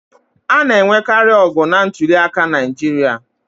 A na-enwekarị ọgụ na ntuliaka Naịjirịa.